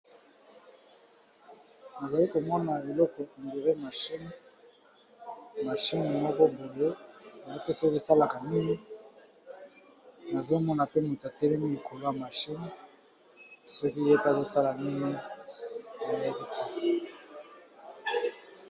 Na zali ko mona eloko malgre machine, machine moko boye, na yebi te soki e salaka nini . Nazo mona pe moto a telemi likolo ya machine soki ye pe azo sala nini, na yebi te .